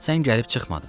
Sən gəlib çıxmadın.